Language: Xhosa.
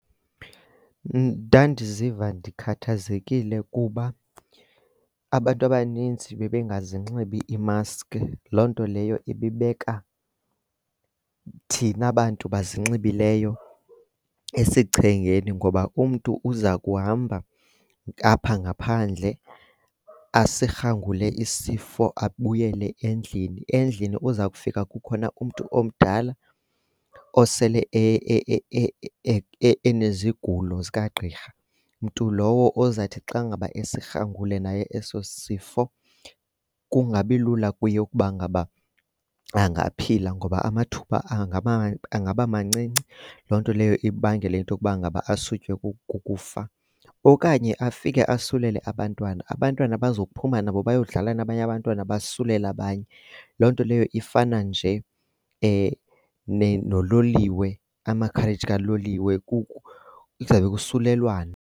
Ndandiziva ndikhathazekile kuba abantu abaninzi bebengazinxibi ii-mask loo nto leyo ibibeka thina bantu bazinxibileyo esichengeni ngoba umntu uza kuhamba apha ngaphandle asirhangule isifo abuyele endlini. Endlini uza kufika kukhona umntu omdala osele enezigulo zikagqirha. Mntu lowo ozathi xa ngaba esirhangule naye eso sif,o kungabilula kuye ukuba ngaba angaphila ngoba amathuba angaba mancinci. Loo nto leyo ibangele into yokuba ngaba asutywe kukufa, okanye afike asulele abantwana. Abantwana bazophuma nabo bayodlala nabanye abantwana basulele abanye. Loo nto leyo ifana nje nololiwe, ama-carriage kaloliwe, kuzawube kusulelwana.